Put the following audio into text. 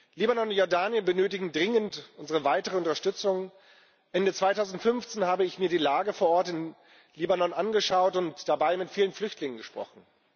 Libanon und Jordanien benötigen dringend unsere weitere Unterstützung. Ende 2015 habe ich mir die Lage vor Ort in Libanon angeschaut und dabei mit vielen Flüchtlingen gesprochen.